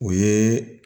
O ye